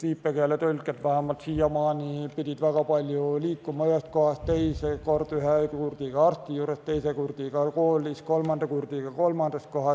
Viipekeeletõlkijad vähemalt siiamaani pidid väga palju liikuma ühest kohast teise: ühe kurdiga arsti juurde, teise kurdiga kooli, kolmanda kurdiga kolmandasse kohta.